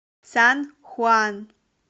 сан хуан